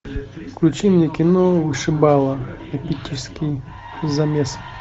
включи мне кино вышибала эпический замес